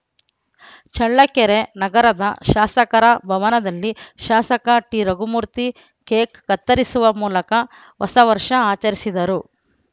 ಚಳ್ಳಕೆರೆ ನಗರದ ಶಾಸಕರ ಭವನದಲ್ಲಿ ಶಾಸಕ ಟಿರಘುಮೂರ್ತಿ ಕೇಕ್‌ ಕತ್ತರಿಸುವ ಮೂಲಕ ಹೊಸ ವರ್ಷ ಆಚರಿಸಿದರು